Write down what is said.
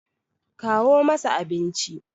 kawo masa abinci!